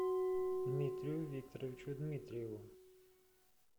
дмитрию викторовичу дмитриеву